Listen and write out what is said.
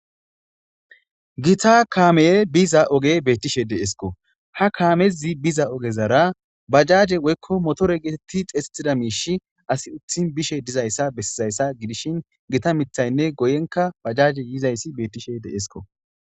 Gita kaamey biza ogey beetishe de7eesikko ha kaamezi biza ogezara bajaaje woykko motore geetettidi xeyssettiza miishsh asi utti bizayssa bessazayssa gidishin gita mithaynne guyenkka bajaajy yishe dizaysi beetishe dees.